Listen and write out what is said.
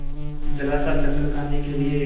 जरासा चक्कर खाने के लिए